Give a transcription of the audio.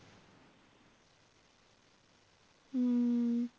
ਹਮ